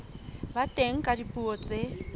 ba teng ka dipuo tse